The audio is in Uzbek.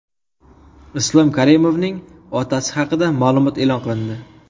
Islom Karimovning otasi haqida ma’lumot e’lon qilindi.